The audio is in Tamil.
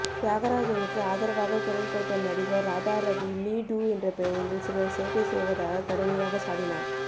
தியாகராஜனுக்கு ஆதரவாக குரல் கொடுத்த நடிகர் ராதாரவி மீ டூ என்ற பெயரில் சிலர் சேட்டை செய்வதாக கடுமையாக சாடினார்